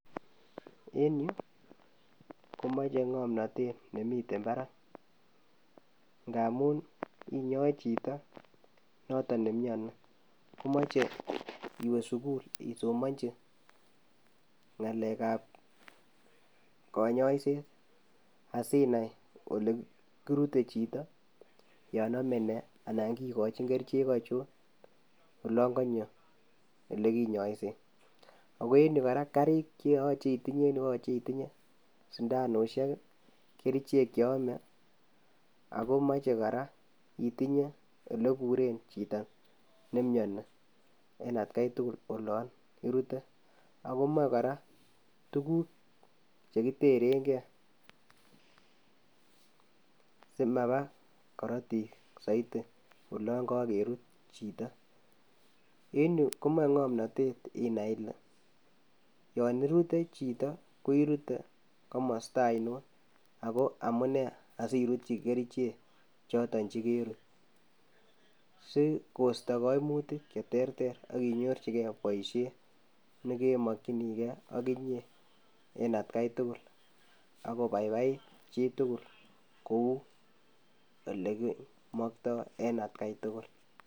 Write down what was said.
En yu komoche ng'omnotet nemi parak ngamu inyoe chito noto nemiani komoche iwee sukul isomonchi ng'alekab konyoiset asinai olekirute chito yon amenee anan kikochin kerichek achon olon konyo olekinyoisen, ako en yu kora karik cheyoche itinye en yu koyoche itinye sindanusiek, kerichek cheyome, akomoche kora itinye oleburen chito nemiani en atkai tugul olon irute, ako moe kora tukuk chekiterengesimapaa korotik soiti olon kokerut chito en yu komoe ng'omnotet inai ile yon irute chito ko irute komosta ainon ako amunee asirutyi kerichek choton chekerut sikosto koimutik cherter akinyorchike boisiet nekemokyinike akinye en atkai tugul akobaibait chitugul kou olekimokto en atkai tugul.